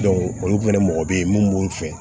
olu fɛnɛ mɔgɔ bɛ ye mun b'u fɛ